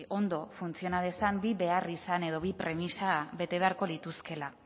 ondo funtziona dezan bi beharrizan edo bi premisa bete beharko lituzkeela